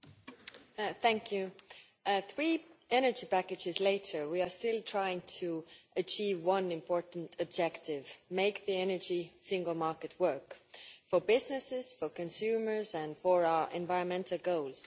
Mr President, three energy packages later we are still trying to achieve one important objective make the Energy Single Market work for businesses, for consumers and for our environmental goals.